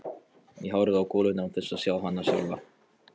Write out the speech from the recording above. Ég horfi á goluna án þess að sjá hana sjálfa.